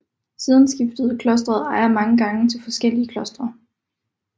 Siden skiftede området ejer mange gange til forskellige klostre